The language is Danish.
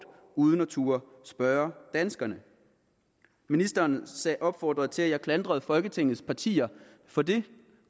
uden at turde spørge danskerne ministeren opfordrer til at jeg klandrer folketingets partier for det